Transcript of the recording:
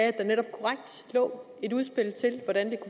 at der netop lå et udspil til hvordan